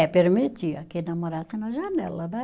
É, permitia que namorasse na janela, né?